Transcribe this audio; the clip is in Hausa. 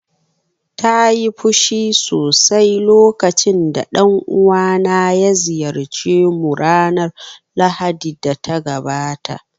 Ta yi fushi sosai lokacin da dan uwana ya ziyarce mu ranar Lahadi da ta gabata